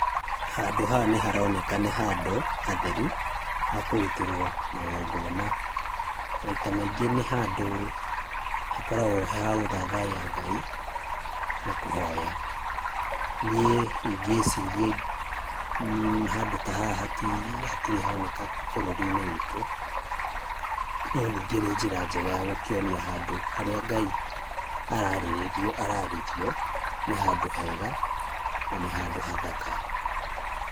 Handũ haha nĩ haroneka nĩ handũ hatheru, hakũrutĩrwo magongona, maita maingĩ nĩ handũ hakoragwo ha gũthathaiya Ngai na kũhoya. Niĩ ingĩciria mmh handũ ta haha ti, hatirĩ honeka bũrũri-inĩ witũ no ningĩ nĩ njĩra njega ya gũkĩonia handũ harĩa Ngai ararĩrio nĩ handũ hega na handũ hathaka.